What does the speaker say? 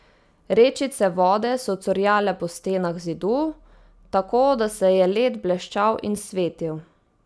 Rečice vode so curljale po stenah Zidu, tako da se je led bleščal in svetil.